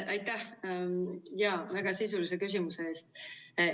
Aitäh väga sisulise küsimuse eest!